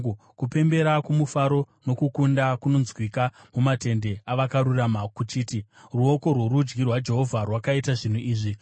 Kupembera kwomufaro nokukunda kunonzwika mumatende avakarurama kuchiti: “Ruoko rworudyi rwaJehovha rwakaita zvinhu zvikuru!